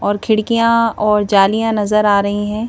और खिड़कियाँ और जालियाँ नज़र आ रही हैं।